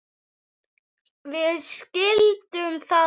Við skildum það vel.